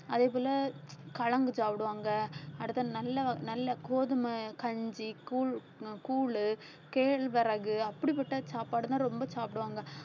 அதே போல கலந்து சாப்பிடுவாங்க அடுத்து நல்ல நல்ல கோதுமை கஞ்சி கூழ் அஹ் கூழ் கேழ்வரகு அப்படிப்பட்ட சாப்பாடுதான் ரொம்ப சாப்பிடுவாங்க